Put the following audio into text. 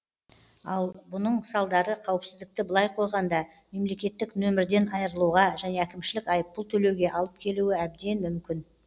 ал бұның салдары қауіпсіздікті былай қойғанда мемлекеттік нөмірден айырылуға және әкімшілік айыппұл төлеуге алып келуі әбден мүмкін